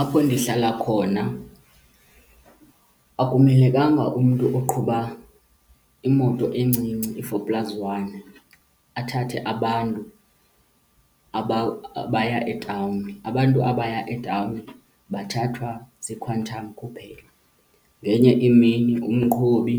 Apho ndihlala khona akumelekanga umntu oqhuba imoto encinci i-four plus one athathe abantu abaya etawuni, abantu abaya etawuni bathathwa ziiQuantum kuphela. Ngenye imini umqhubi